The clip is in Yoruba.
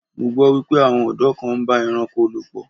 Mo gbọ́ wípé àwọn ọ̀dọ́ kan ń bá ẹranko lò pọ̀.